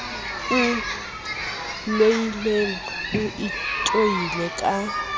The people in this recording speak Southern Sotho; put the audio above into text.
o loileng o itoile ka